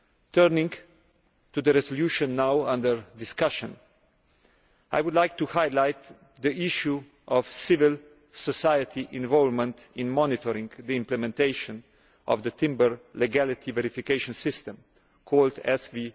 Turning to the resolution now under discussion, I would like to highlight the issue of civil society involvement in monitoring the implementation of the timber legality verification system, called SVLK.